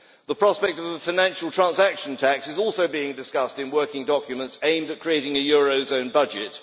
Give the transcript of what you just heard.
The prospect of a financial transaction tax is also being discussed in working documents aimed at creating a eurozone budget.